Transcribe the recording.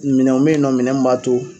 Minɛnw be yen nɔ minɛn min b'a to